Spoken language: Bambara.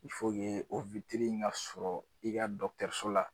o in ka sɔrɔ i ka so la.